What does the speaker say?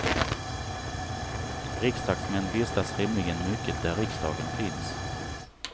Riksdagsmän vistas rimligen mycket där riksdagen finns.